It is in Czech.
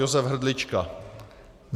Josef Hrdlička.